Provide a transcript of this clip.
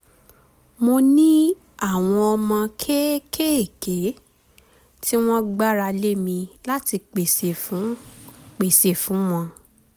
mo ní àwọn ọmọ kéékèèké tí wọ́n gbára lé mi láti pèsè fún pèsè fún wọn